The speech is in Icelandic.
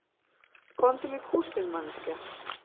Komdu með kústinn manneskja